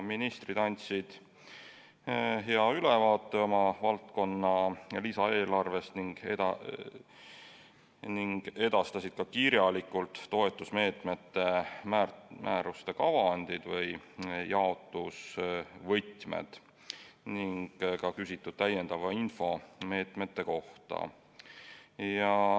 Ministrid andsid hea ülevaate oma valdkonna lisaeelarvest ning edastasid kirjalikult ka toetusmeetmete määruste kavandid või jaotusvõtmed ning neilt küsitud täiendava info meetmete kohta.